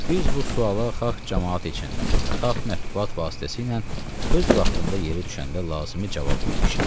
Biz bu suala xalq camaət içində və xalq mətbuat vasitəsilə öz vaxtında yeri düşəndə lazımi cavab vermişik.